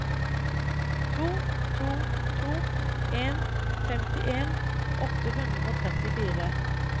to to to en femtien åtte hundre og trettifire